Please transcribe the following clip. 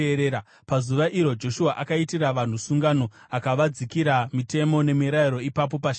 Pazuva iro Joshua akaitira vanhu sungano, akavadzikira mitemo nemirayiro ipapo paShekemu.